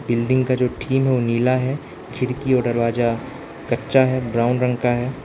Building का जो theme है वो नीला है खिड़की और दरवाजा कच्चा है ब्राउन रंग का है।